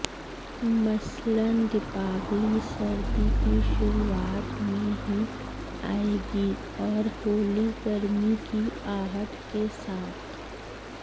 मसलन दीपावली सरदी की शुरुआत में ही आएगी और होली गरमी की आहट के साथ